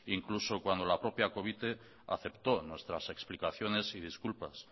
incluso cuando la propia covite aceptó nuestras explicaciones y disculpas